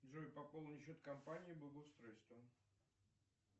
джой пополни счет компании благоустройство